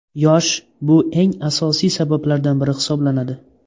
Yosh Bu eng asosiy sabablardan biri hisoblanadi.